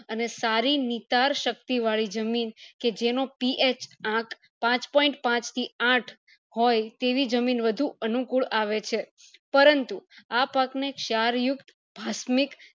અને સારી નીતર શક્તિ વળી જમીન કે જેનો PH આંક પાંચ point પાંચ થી આઠ હોય તેવી જમીન વધુ અનુકુળ આવે છે પરંતુ આ પાક ને ચાર યુક્ત ભાસ્મિક